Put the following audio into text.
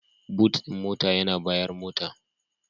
"Boot" din mota yana bayan motar.